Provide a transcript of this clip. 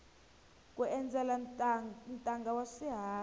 ku endzela ntanga wa swiharhi